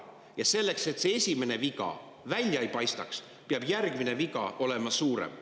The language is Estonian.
Ja selleks, et see esimene viga välja ei paistaks, peab järgmine viga olema suurem.